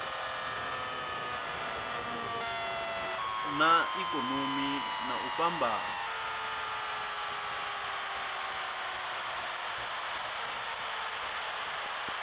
na ikonomi na u fhambana